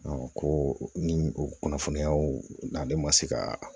ko ni o kunnafoniyaw n'ale ma se ka